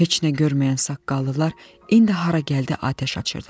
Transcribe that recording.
Heç nə görməyən saqqallılar indi hara gəldi atəş açırdılar.